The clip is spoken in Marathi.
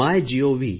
मायगोव